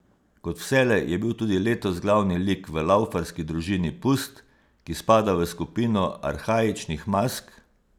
Kot vselej je bil tudi letos glavni lik v laufarski družini Pust, ki spada v skupino arhaičnih mask.